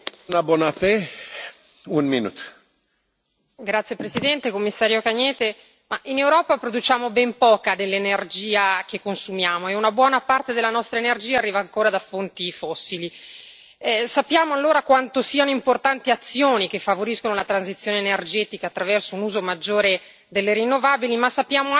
Signor Presidente, onorevoli colleghi, signor Commissario Cañete, in Europa produciamo ben poca dell'energia che consumiamo e una buona parte della nostra energia arriva ancora da fonti fossili. Sappiamo allora quanto siano importanti azioni che favoriscono la transizione energetica, attraverso un uso maggiore delle rinnovabili, ma sappiamo anche quanto sia importante